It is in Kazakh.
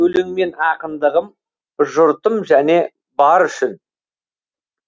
өлеңмен ақындығым жұртым және бар үшін